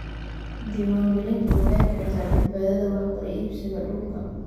Diiwaangelintu waxay keentaa badbaadada wax kala iibsiga dhulka.